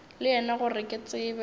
le yena gore ke tsebe